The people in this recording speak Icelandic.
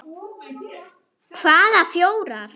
Hvaða fjórar?